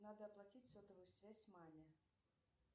надо оплатить сотовую связь маме